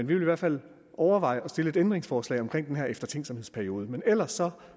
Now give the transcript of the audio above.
vil i hvert fald overveje at stille et ændringsforslag om den her eftertænksomhedsperiode men ellers